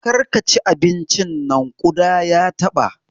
Kar ki ci abincin nan! ƙuda ya taɓa.